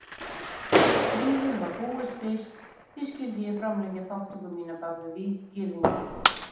Stríðið var búið spil, því skyldi ég framlengja þátttöku mína bak við víggirðingu?